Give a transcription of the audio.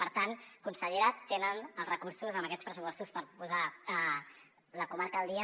per tant consellera tenen els recursos en aquests pressupostos per posar la comarca al dia